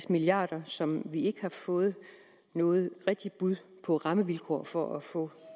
milliard kr som vi ikke har fået noget rigtigt bud på rammevilkår for at få